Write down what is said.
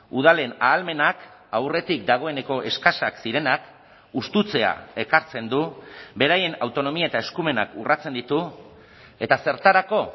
udalen ahalmenak aurretik dagoeneko eskasak zirenak hustutzea ekartzen du beraien autonomia eta eskumenak urratzen ditu eta zertarako